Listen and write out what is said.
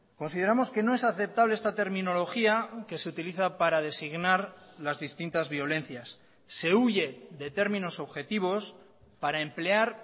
consideramos que no es aceptable esta terminología que se utiliza para designar las distintas violencias se huye de términos objetivos para emplear